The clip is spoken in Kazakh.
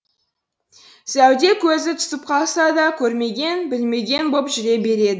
зәуде көзі түсіп қалса да көрмеген білмеген боп жүре береді